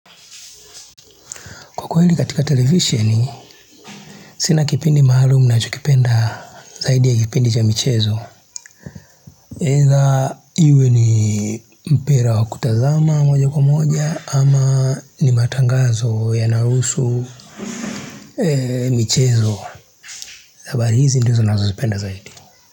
Kwa kwa hili katika televisioni, sina kipindi maalumu nachokipenda zaidi ya kipindi cha michezo. Either iwe ni mpira wa kutazama moja kwa moja ama ni matangazo yanayo husu michezo. Habari hizi ndiozo nazo zipenda zaidi.